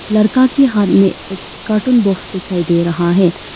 लड़का के हाथ में एक कार्टून बॉक्स दिखाई दे रहा है।